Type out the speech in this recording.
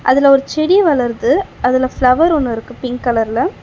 அதுல ஒரு செடி வளருது அதுல ஃப்ளவர் ஒன்னு இருக்கு பிங்க் கலர்ல .